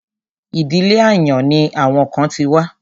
Ìdílé àyàn ni àwọn kan ti wá.